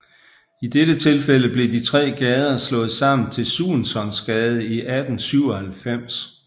I dette tilfælde blev de tre gader slået sammen til Suensonsgade i 1897